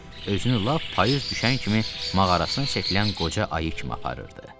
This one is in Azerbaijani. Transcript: özünü lap payız düşən kimi mağarasına çəkilən qoca ayı kimi aparırdı.